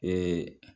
Ee